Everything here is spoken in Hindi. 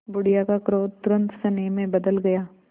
बुढ़िया का क्रोध तुरंत स्नेह में बदल गया